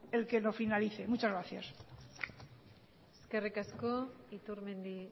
el que lo finalice muchas gracias eskerrik asko iturmendi